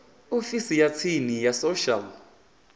ofisini ya tsini ya social